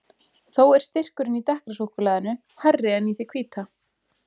Þó er styrkurinn í dekkra súkkulaðinu hærri en í því hvíta.